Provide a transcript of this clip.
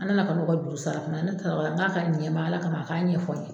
An na na ka n'u ka juru sara o kuma ne taara o la n ka ka ɲɛ n maa Ala kama a k'a ɲɛfɔ n ye.